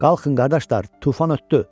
Qalxın qardaşlar, tufan ötdü.